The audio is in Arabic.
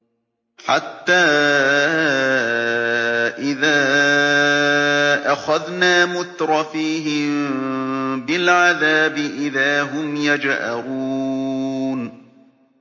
حَتَّىٰ إِذَا أَخَذْنَا مُتْرَفِيهِم بِالْعَذَابِ إِذَا هُمْ يَجْأَرُونَ